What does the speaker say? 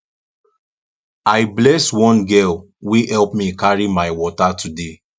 i bless one girl wey help me carry my water today